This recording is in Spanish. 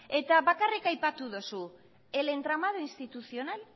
eta bakarrik aipatu duzu el entramado institucional